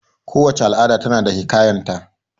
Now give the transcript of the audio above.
Kowace al'ada ta na da hiƙayan ta